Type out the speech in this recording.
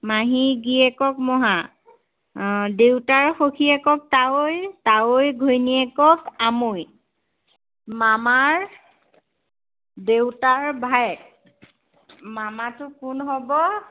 মাহীৰ গেৰিয়েকক মহা। আহ দেউতাৰ সখীয়েকক তাৱৈ। তাৱৈৰ ঘৈণীয়েকক আমৈ। মামাৰ দেউতাৰ ভায়েক মামাটো কোন হব?